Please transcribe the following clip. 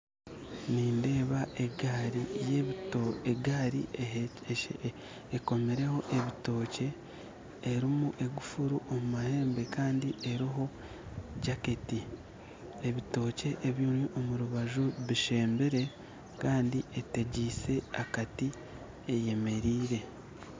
Nindeeba egaari ekomireho ebitookye erimu egufuuru omu mahembe kandi eriho n'ejaketi ebitookye ebiri omu rubaju bishembire kandi etegyise akati ayemereire